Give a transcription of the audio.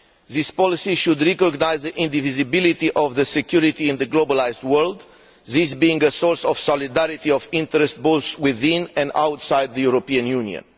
This policy should recognise the indivisibility of security in the globalised world, this being a source of solidarity of interest, both within and outside the European Union.